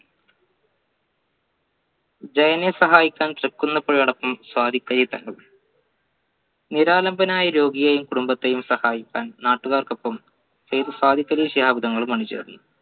ജയനെ സഹായിക്കാൻ ചെക്കുന്ന പുഴയടക്കം നിരാലംബനായ രോഗിയെയും കുടുംബത്തെയും സഹായിക്കാൻ നാട്ടുകാർക്കൊപ്പം സയിദ് സാദിഖലി ശിഹാബ് തങ്ങൾ അണി ചേർന്നു